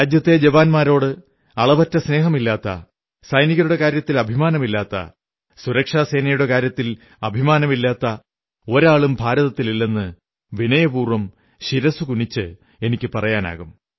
രാജ്യത്തെ ജവാന്മാരോട് അളവറ്റ സ്നേഹമില്ലാത്ത സൈനികരുടെ കാര്യത്തിൽ അഭിമാനമില്ലാത്ത സുരക്ഷാ സേനയുടെ കാര്യത്തിൽ അഭിമാനമില്ലാത്ത ഒരാളും ഭാരതത്തിലില്ലെന്ന് വിനയപൂർവ്വം ശിരസ്സുകുനിച്ച് എനിക്കു പറയാനാകും